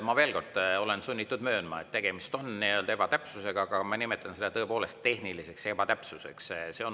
Ma veel kord olen sunnitud möönma, et tegemist on ebatäpsusega, aga ma nimetan seda tõepoolest tehniliseks ebatäpsuseks.